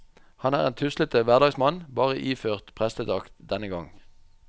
Han er en tuslete hverdagsmann, bare iført prestedrakt denne gang.